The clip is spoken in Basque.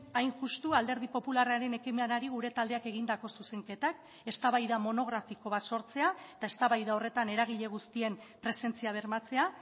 hain justu alderdi popularraren ekimenari gure taldeak egindako zuzenketak eztabaida monografiko bat sortzea eta eztabaida horretan eragile guztien presentzia bermatzea